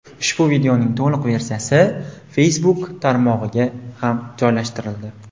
Ushbu videoning to‘liq versiyasi Facebook tarmog‘iga ham joylashtirildi.